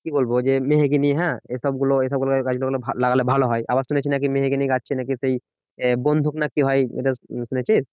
কি বলবো যে, মেহগিনি হ্যাঁ এসবগুলো এসবগুলো গাছ এগুলো লাগালে ভালো হয়। আবার শুনেছি নাকি মেহগিনি গাছে নাকি সেই বন্দুক নাকি হয় এটা শুনেছিস